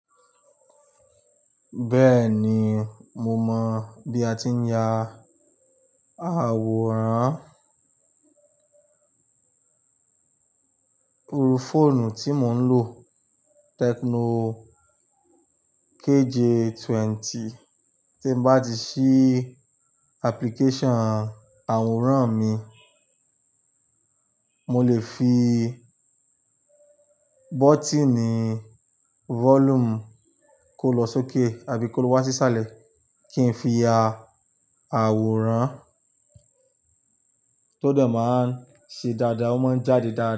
Bẹ́ẹ̀ni, mo mọ̀ bí a ti ń ya àwòrán. Irù fóònù tí mò ń lò, Tecno KJ20, tí n bá ti ṣí application àwòrán mi, mo lè fi bọ́tíìnì volume kó lọ sókè àbí kó wá sísàlẹ̀ kí n fi ya àwòrán tó de máa ń ṣe dáadáa, ó máa ń jáde dáadáa.